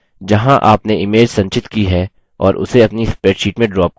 जहाँ आपने image संचित की है और उसे अपनी spreadsheet में ड्रॉप करें